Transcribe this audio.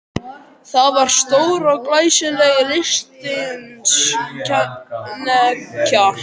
Það var stór og glæsileg lystisnekkja.